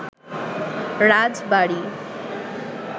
রাজবাড়ী